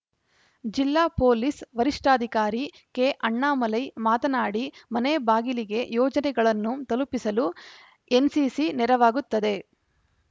ಜಿಲ್ಲಾ ಪೊಲೀಸ್‌ ವರಿಷ್ಠಾಧಿಕಾರಿ ಕೆಅಣ್ಣಾಮಲೈ ಮಾತನಾಡಿ ಮನೆ ಬಾಗಿಲಿಗೆ ಯೋಜನೆಗಳನ್ನು ತಲುಪಿಸಲು ಎನ್‌ಸಿಸಿ ನೆರವಾಗುತ್ತದೆ